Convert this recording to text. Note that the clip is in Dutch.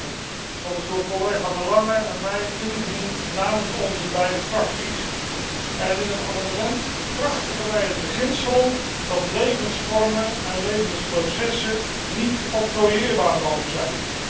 1. Dat amendement is door collega De Lange en mij ingediend namens onze beide fracties. In het amendement bekrachtigen wij het beginsel dat levensvormen en levensprocessen niet octrooieerbaar mogen zijn.